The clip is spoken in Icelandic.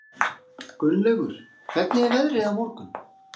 Gunnlaugur, hvernig er veðrið á morgun?